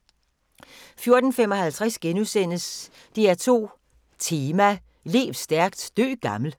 14:55: DR2 Tema: Lev stærkt, dø gammel